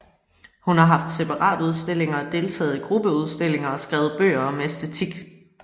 Hun har haft separatudstillinger og deltaget i gruppeudstillinger og skrevet bøger om æstetik